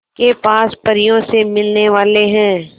के पास परियों से मिलने वाले हैं